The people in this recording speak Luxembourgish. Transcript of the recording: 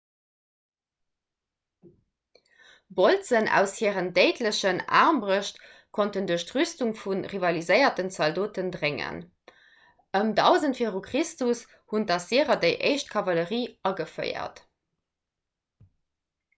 bolzen aus hiren déidlechen aarmbrëscht konnten duerch d'rüstung vu rivaliséierenden zaldoten dréngen. ëm 1000 v. chr. hunn d'assyrer déi éischt kavallerie ageféiert